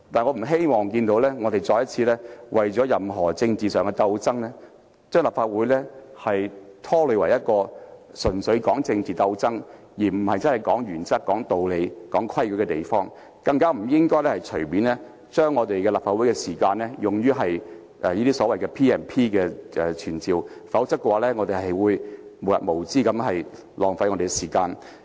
我不希望看到議員再次為任何政治上的爭鬥而拖累立法會，使之成為一個純粹作政治鬥爭而不是討論原則、道理及規矩的地方，更不應該隨意利用立法會的時間，引用賦予立法會權力及特權的條文提出傳召的要求，否則就會無日無之的浪費時間。